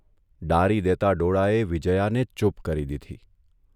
ડારી દેતા ડોળાએ વિજયાને ચૂપ કરી દીધી.